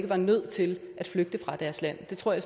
var nødt til at flygte fra deres land det tror jeg